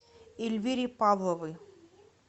эльвире павловой